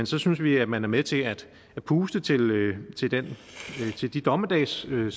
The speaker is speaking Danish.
så synes vi at man er med til at puste til til de dommedagsscenarier